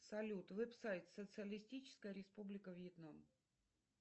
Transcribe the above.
салют веб сайт социалистическая республика вьетнам